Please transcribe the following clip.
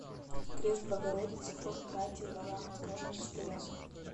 крест богородицы хор братии валаамского монастыря